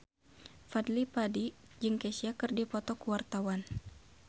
Fadly Padi jeung Kesha keur dipoto ku wartawan